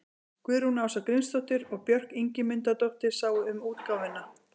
Guðrún Ása Grímsdóttir og Björk Ingimundardóttir sáu um útgáfuna.